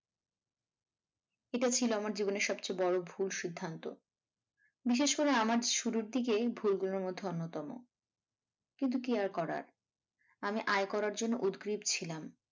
এটা ছিল আমার জীবনের সবচেয়ে বড় ভুল সিদ্ধান্ত বিশেষ করে আমার শুরুর দিকের ভুল গুলোর মধ্যে অন্যতম কিন্তু কী আর করার আমি আয় করার জন্য উদগ্রীব ছিলাম।